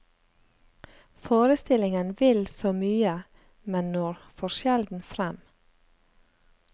Forestillingen vil så mye, men når for sjelden frem.